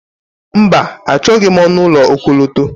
Mba, Achọghị m ọnụ ụlọ okọlọtọ